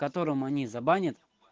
в которым они забанят